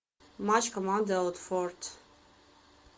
матч команды аутфорт